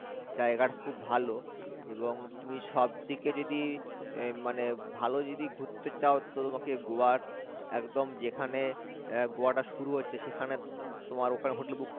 জায়গাটা খুব ভাল এবং তুমি সব দিকে যদি এর মানে ভালো যদি ঘুরতে চাও তো তোমাকে গোয়ার একদম যেখানে এর গোয়াটা শুরু হচ্ছে সেখানে তোমার ওখানে hotel book